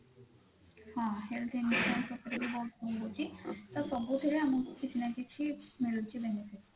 ହଁ health insurance ଉପରେ ବି ବହୁତ ରହୁଛି ତ ସବୁଥିରେ ଆମକୁ କିଛି ନା କିଛି ମିଳୁଛି benefit